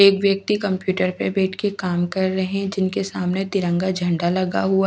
एक व्यक्ति कंप्यूटर पर बैठ कर के काम कर रहे है जिनके सामने तिरंगा--